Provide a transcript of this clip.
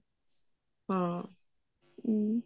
ਹਾਂ ਹਮ